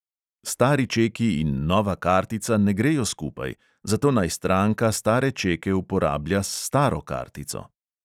Stari čeki in nova kartica ne grejo skupaj, zato naj stranka stare čeke uporablja s staro kartico.